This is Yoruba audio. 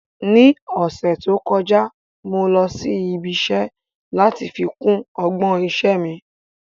Ní ọ̀sẹ̀ tó kọjá, mo lọ sí ibi iṣẹ́ láti fi kún ọgbọ́n iṣẹ́ mi